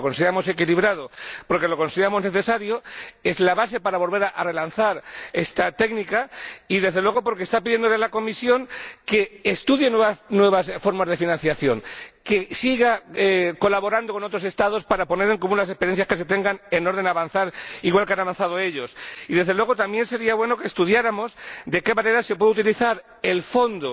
Porque lo consideramos equilibrado, porque lo consideramos necesario ―es la base para volver a relanzar esta técnica― y, desde luego, porque en él se pide a la Comisión que estudie nuevas formas de financiación, que siga colaborando con otros Estados para poner en común las experiencias que se tengan con objeto de avanzar igual que han avanzado ellos. Y, desde luego, también sería bueno que estudiáramos de qué manera se puede utilizar el Fondo